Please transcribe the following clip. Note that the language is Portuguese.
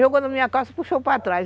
Jogou na minha calça e puxou para trás.